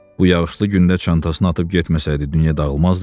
Bu yağışlı gündə çantasını atıb getməsəydi dünya dağılmazdı ki.